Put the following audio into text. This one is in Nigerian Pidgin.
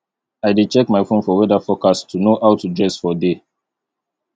i dey check my phone for weather forecast to know how to dress for day